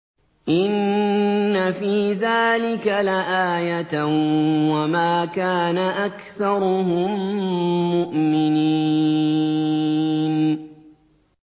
إِنَّ فِي ذَٰلِكَ لَآيَةً ۖ وَمَا كَانَ أَكْثَرُهُم مُّؤْمِنِينَ